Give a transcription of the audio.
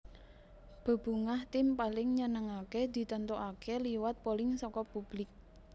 Bebungah Tim Paling Nyenengake ditentokaké liwat polling saka publik